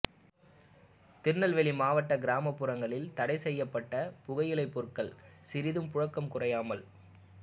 திருநெல்வேலி மாவட்ட கிராமப்புறங்களில் தடை செய்யப்பட்ட புகையிலைப் பொருள்கள் சிறிதும் புழக்கம் குறையாமல்